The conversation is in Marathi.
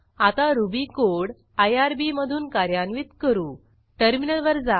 आता रुबी कोड आयआरबी मधून कार्यान्वित करूटर्मिनलवर जा